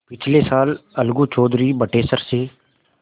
पिछले साल अलगू चौधरी बटेसर से